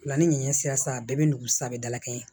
Fila ni ɲɛ sira sa bɛɛ bɛ nugu sabanan kɛ ye